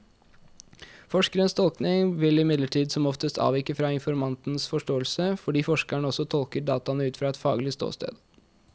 Forskerens tolkning vil imidlertid som oftest avvike fra informantens forståelse, fordi forskeren også tolker dataene ut fra et faglig ståsted.